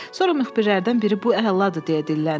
Sonra müxbirlərdən biri bu əladır deyə dilləndi.